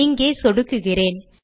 இங்கே சொடுக்குகிறேன்